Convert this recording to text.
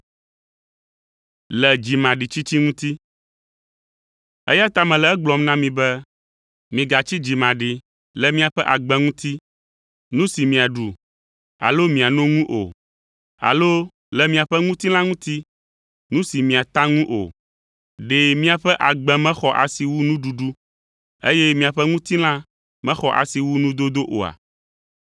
“Eya ta mele egblɔm na mi be, migatsi dzimaɖi le miaƒe agbe ŋuti, nu si miaɖu alo miano ŋu o; alo le miaƒe ŋutilã ŋuti, nu si miata ŋu o. Ɖe miaƒe agbe mexɔ asi wu nuɖuɖu, eye miaƒe ŋutilã mexɔ asi wu nudodo oa?